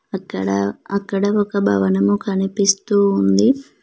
అక్కడ అక్కడ ఒక భవనము కనిపిస్తూ ఉంది.